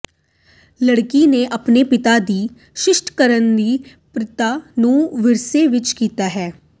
ਲੜਕੀ ਨੇ ਆਪਣੇ ਪਿਤਾ ਦੀ ਸ੍ਰਿਸ਼ਟ ਕਰਨ ਦੀ ਪ੍ਰਤਿਭਾ ਨੂੰ ਵਿਰਸੇ ਵਿਚ ਕੀਤਾ ਹੈ